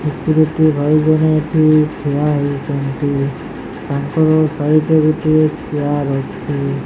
ହେଠି ଗୋଟିଏ ଭାଇ ଜଣେ ଏଠି ଠିଆ ହେଇଚନ୍ତି ତାଙ୍କର ସାଇଟ୍ ରେ ଗୋଟିଏ ଚିଆର୍ ଅଛି।